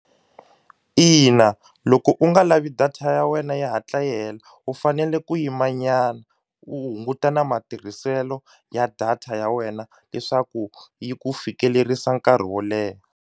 Ina, loko u nga lavi data ya wena yi hatla yi hela u fanele ku yimanyana u hunguta na matirhiselo ya data ya wena leswaku yi ku fikelerisa nkarhi wo leha.